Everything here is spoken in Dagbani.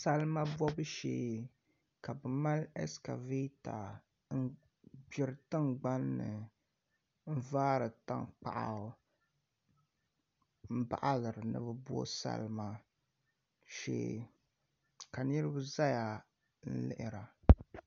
Salima bobu shee ka bi mali ɛskavɛta n gbiri tingbanni n vaari tankpaɣu n baɣaliri ni bi bo salima shee ka niraba ʒɛya n lihira